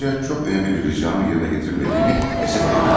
Həm ayrıca çox önəmli bir ricamın yerinə gətirilmədiyini əsəflə görüyorum.